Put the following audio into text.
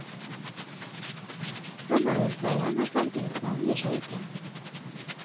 Gammelordføreren og fagtillitsmannen gir seg ikke.